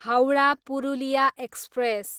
Howrah, Purulia express